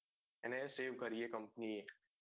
એને save કરી company એ